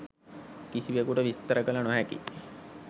කිසිවෙකුට විස්තර කළ නොහැකියි.